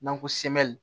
N'an ko sem